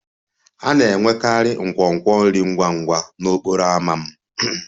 A na-enwekarị nkwonkwo nri ngwa ngwa n'okporo ámá m